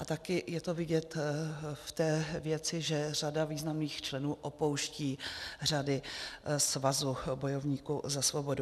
A také je to vidět v té věci, že řada významných členů opouští řady svazu bojovníků za svobodu.